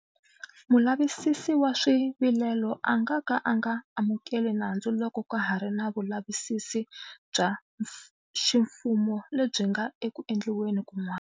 Mulavisisi wa Swivilelo a nga ka a nga amukeli nandzu loko ka ha ri na vulavisisi bya xi mfumo lebyi nga eku endliweni kun'wana.